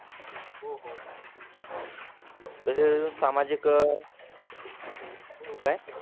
तसंच सामाजिक काय?